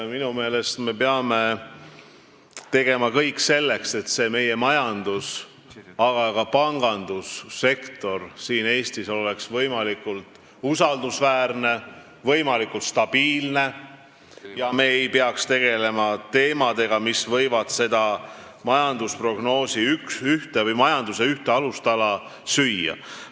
Minu meelest me peame tegema kõik selleks, et meie majandus-, aga ka pangandussektor siin Eestis oleks võimalikult usaldusväärne ja stabiilne ning me ei peaks tegelema teemadega, mis võivad seda majanduse ühte alustala süüa.